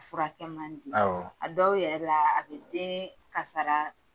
Furakɛ man di a dɔw yɛrɛ la a bɛ den kasara